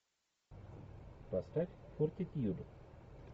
поставь фортитьюд